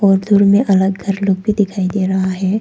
उधर में एक अलग घर लोग भी दिखाई दे रहा है।